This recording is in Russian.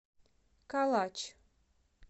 калач